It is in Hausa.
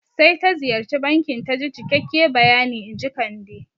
Sai ta ziyarci bankin taji cikakke bayani inji Kande